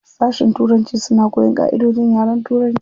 Sashin turanci suna koyan ƙaʼidojin yaren turanci.